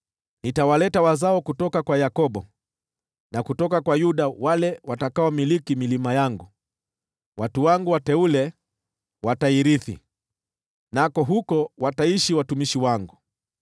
Nitawaleta wazao kutoka kwa Yakobo, na kutoka kwa Yuda wale watakaomiliki milima yangu, nao watu wangu wateule watairithi, nako huko wataishi watumishi wangu.